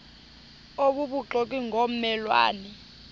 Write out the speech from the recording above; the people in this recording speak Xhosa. obubuxoki ngomme lwane